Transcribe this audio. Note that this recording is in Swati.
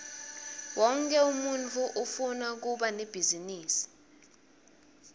wonkhe umuntfu ufuna kuba nebhizinisi